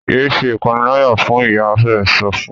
yé ṣe ìpaniláyà fún! ìyá rẹ sọfún.